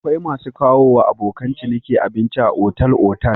Akwai masu kawowa abokan ciniki abinci a otal-otal.